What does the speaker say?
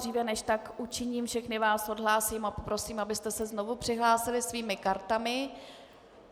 Dříve než tak učiním, všechny vás odhlásím a poprosím, abyste se znovu přihlásili svými kartami.